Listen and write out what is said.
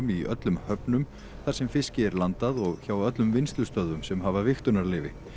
í öllum höfnum þar sem fiski er landað og hjá öllum vinnslustöðvum sem hafa vigtunarleyfi